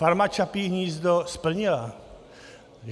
Farma Čapí hnízdo splnila.